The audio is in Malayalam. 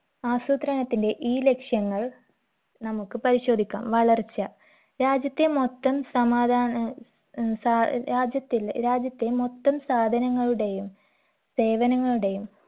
ആസൂത്രണത്തിന്റെ ഈ ലക്ഷ്യങ്ങൾ നമുക്ക് പരിശോധിക്കാം വളർച്ച രാജ്യത്തെ മൊത്തം സമാധാന ഏർ രാജ്യത്തിലെ രാജ്യത്തെ മൊത്തം സാധനങ്ങളുടെയും സേവനങ്ങളുടെയും